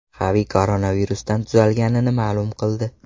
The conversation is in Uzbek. Xavi koronavirusdan tuzalganini ma’lum qildi.